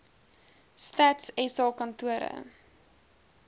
stats sa kantore